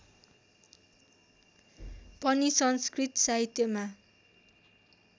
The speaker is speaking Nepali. पनि संस्कृत साहित्यमा